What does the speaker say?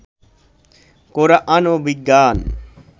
কোরআন ও বিজ্ঞান